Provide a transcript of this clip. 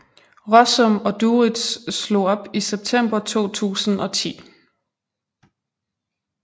Rossum og Duritz slog op i september 2010